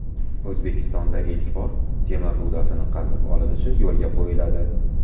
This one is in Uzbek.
O‘zbekistonda ilk bor temir rudasi qazib olinishi yo‘lga qo‘yiladi.